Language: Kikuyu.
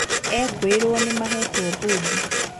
Ekũĩrwo nĩmahetwo mbũndi